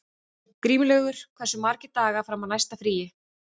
Grímlaugur, hversu margir dagar fram að næsta fríi?